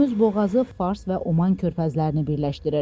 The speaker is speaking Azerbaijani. Hörmüz boğazı Fars və Oman körfəzlərini birləşdirir.